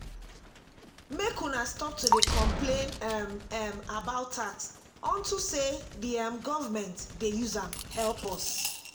make una stop to dey complain um um about tax unto say the um government dey use am help us